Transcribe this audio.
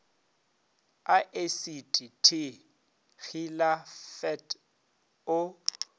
a esiti t hilafat o